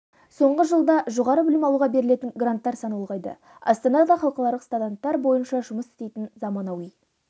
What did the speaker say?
соңғы жылда жоғары білім алуға берілетін гранттар саны ұлғайды астанада халықаралық стандарттар бойынша жұмыс істейтін заманауи